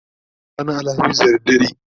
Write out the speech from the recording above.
ta haihu ranar alhamis da dare